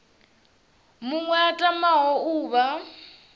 muṅwe a tamaho u vha